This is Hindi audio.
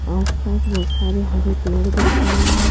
आस पास बहुत सारे हरे पेड़ दिख रहे हैं।